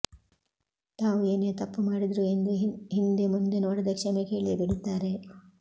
ತಾವು ಏನೇ ತಪ್ಪು ಮಾಡಿದ್ರು ಎಂದು ಹಿಂದೆ ಮುಂದೆ ನೋಡದೇ ಕ್ಷಮೆ ಕೇಳಿಯೇ ಬೀಡುತ್ತಾರೆ